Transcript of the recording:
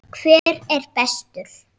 Hver er bestur?